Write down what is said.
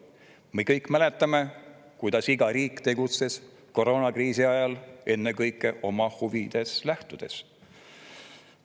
Me kõik mäletame, kuidas iga riik tegutses koroonakriisi ajal ennekõike oma huvidest lähtudes.